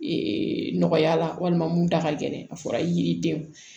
nɔgɔya la walima mun da ka gɛlɛn a fɔra i yiri den